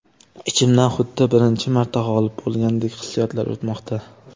Ichimdan xuddi birinchi marta g‘olib bo‘lgandek hissiyotlar o‘tmoqda.